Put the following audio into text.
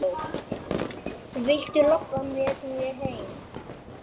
Viltu labba með mér heim!